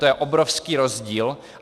To je obrovský rozdíl.